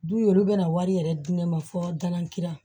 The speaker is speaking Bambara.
Du ye olu bɛna wari yɛrɛ di ne ma fo dan kilan